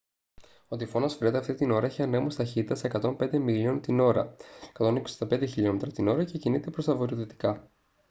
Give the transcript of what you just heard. ο τυφώνας φρεντ αυτή την ώρα έχει ανέμους ταχύτητας 105 μιλίων την ώρα 165 χλμ / ώρα και κινείται προς τα βορειοδυτικά